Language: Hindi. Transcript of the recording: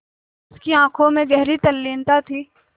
उसकी आँखों में गहरी तल्लीनता थी